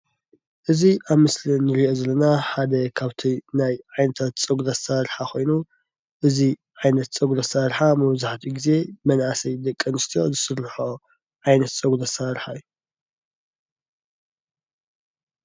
እዚ ኣብ ምስሊ እንሪኦ ዘለና ሓደ ካብቶም ናይ ዓይነታት ፀጉሪ ኣሰራርሓ ኮይኑ እዚ ዓይነት ፀጉሪ ኣሰራርሓ መብዛሕትኡ ግዜ መናእሰይ ደቂ ኣንስትዮ ዝስረሐኦ ዓይነት ፀጉሪ ኣሰራርሓ እዩ፡፡